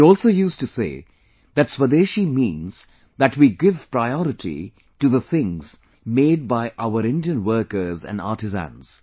He also used to say that Swadeshi means that we give priority to the things made by our Indian workers and artisans